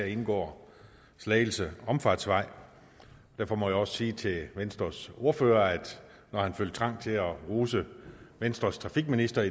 indgår slagelse omfartsvej derfor må jeg også sige til venstres ordfører at når han følte trang til at rose venstres trafikminister